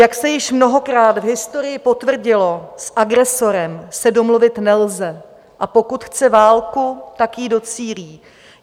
Jak se již mnohokrát v historii potvrdilo, s agresorem se domluvit nelze, a pokud chce válku, tak jí docílí.